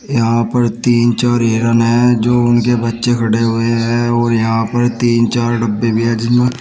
यहां पर तीन चार हिरन हैं जो उनके बच्चे खड़े हुए हैं और यहां पर तीन चार डब्बे भी हैं जिसमें--